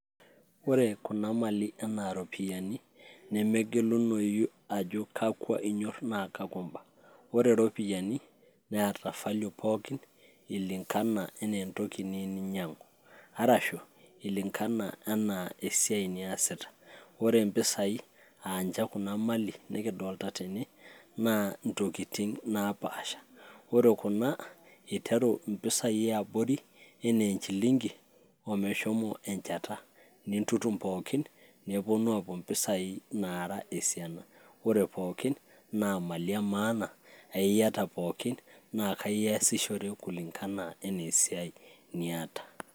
ore kuna mali enaa ropiyiani nemegelunoyu ajo kakwa inyorr naa kakwa imba ore iropiyiani neeta value pookin ilingana enaa entoki niyieu ninyiang'u arashu ilingana enaa esiai niyasita ore impisai anche kuna mali nikidolta tene naa intokiting napasha ore kuna iteru impisai eabori enaa enchilingi omeshomo enchata nintutum pookin neponu apuo mpisai naara esiana ore pookin na imali emaana aiyata pookin naa kaiyasishore kulingana enaa esiai niata.